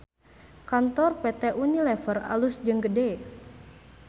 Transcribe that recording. Kantor PT UNILEVER alus jeung gede